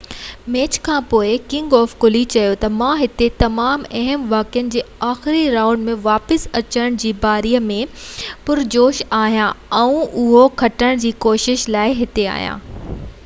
match کانپوءِ king of clay چيو ته مان هتي تمام اهم واقعن جي آخري رائونڊ ۾ واپس اچڻ جي باري ۾ پرجوش آهيان آئون اهو کٽڻ جي ڪوشش لاءِ هتي آهيان